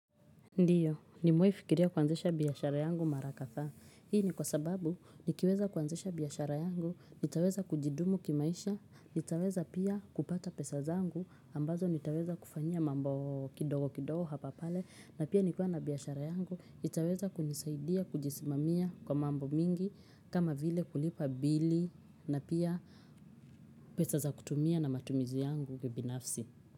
Ndiyo, nimewaifikiria kuanzesha biyashara yangu marakatha. Hii ni kwa sababu, nikiweza kuanzesha biyashara yangu, nitaweza kujidumu kimaisha, nitaweza pia kupata pesa zangu, ambazo nitaweza kufanya mambo kidogo kidogo hapa pale, na pia nikuwa na biyashara yangu, nitaweza kunisaidia kujisimamia kwa mambo mingi, kama vile kulipa bili, na pia pesa za kutumia na matumizi yangu kibinafsi.